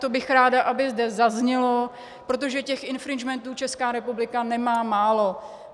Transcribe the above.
To bych ráda, aby zde zaznělo, protože těch infringementů Česká republika nemá málo.